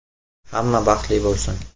“Hamma baxtli bo‘lsin!